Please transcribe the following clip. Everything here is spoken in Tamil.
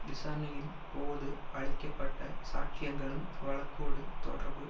விசாரணையின் போது அளிக்க பட்ட சாட்சியங்களும் வழக்கோடு தொடர்பு